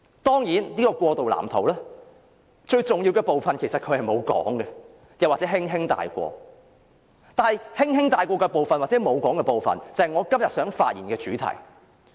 當然，北京並沒有明言，又或只是輕輕帶過這個過渡藍圖的最重要部分，但這正是我今天發言的主題。